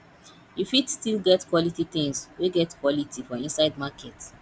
you fit still get quality tins wey get quality for inside market